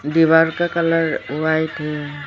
दीवार का colour white है।